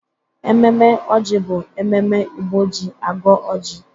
Ememe ọjị bụ ememe Igbo ji agọ oji.